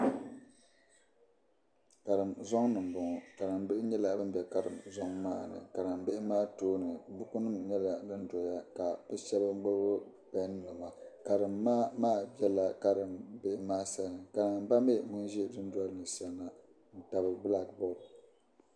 Karim zoŋni m-boŋo karim bihi nyɛla ban ze karim zoŋ maani karim bihi maa tooini bukunima nyela din doya kabi serigi pen niŋa karim ma maa bela karim bihi maa sani karim ba miri ŋun ze du86ndoli ni saŋo ntab blak board.